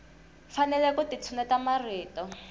fanele ku ti tshulela marito